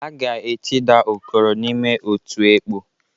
A ga-etida Okoro n'ime otu ekpọ.